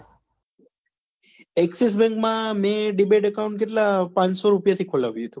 axis bank માં મેં demat account કેટલા પાનસો રૂપિયા થી ખોલાવ્યું હતું